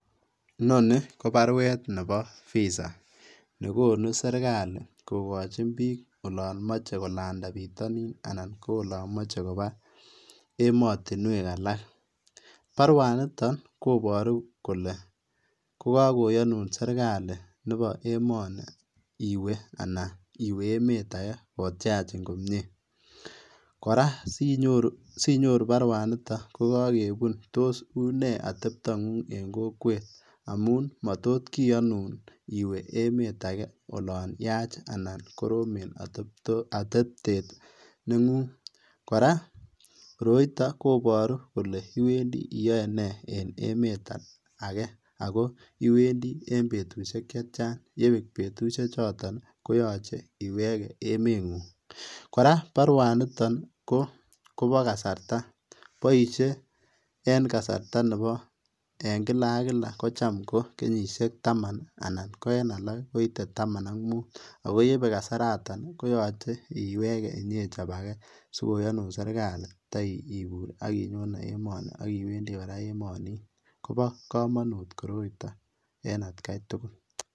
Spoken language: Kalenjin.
Nonii kobarwet nebo visa nekonu serikali kokochin biik olon moche kolanda bitonin anan ko olon moche kobaa emotinwek alak, barwaniton koboru kolee kokakoyonun serikali neboo emoni iwee anan iwee emet akee kotyachin komnyee, kora sinyoruu barwaniton kokakebun toos unee atebtang'ung en kokweet amuun matotkiyonun iwee emet akee yaan yaach anan koromen atebtet neng'ung, kora koroiton koboru kolee iwendii iyoee nee en emet akee akoo iwendii en betushek chetian yebeek betushechoton koyoche iwekee emeng'ung, kora barwaniton koboo kasarta, boishee en kasarta neboo en kilak ak kilak kocham ko kenyishek taman anan ko en alak koite taman ak muut, akoo yebeek kasaroton koyoche iwekee inyechob akee sikoyonun serikali itoibur akinyon emoni akiwendi kora emonin, kobo komonut koroiton en atkai tukul.